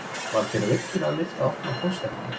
Var þér virkilega leyft að opna póstinn hennar